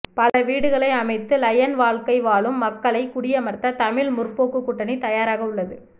பல வீடுகளை அமைத்து லயன் வாழ்க்கை வாழும் மக்களை குடியமர்த்த தமிழ் முற்போக்கு கூட்டணி தயாராக உள்ளது